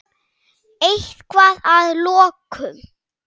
Eitthvað að að lokum?